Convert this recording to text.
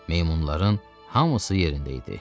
Meymunların hamısı yerində idi.